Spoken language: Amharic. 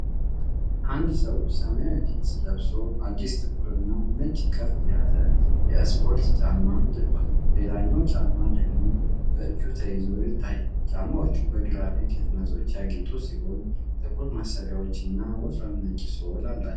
አንድ ሰው ሰማያዊ ጂንስ ለብሶ አዲስ ጥቁርና ነጭ ከፍ ያለ የእስፖርት ጫማ አድርጓል። ሌላኛው ጫማ ደግሞ በእጅ ተይዞ ይታያል። ጫማዎቹ በግራፊክ ህትመቶች ያጌጡ ሲሆኑ ጥቁር ማሰሪያዎች እና ወፍራም ነጭ ሶል አላቸው።